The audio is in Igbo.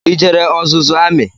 I jere ọzụzụ amị?